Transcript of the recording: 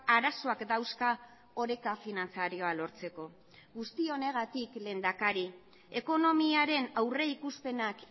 arazoak dauzka oreka finantzarioa lortzeko guzti honegatik lehendakari ekonomiaren aurrikuspenak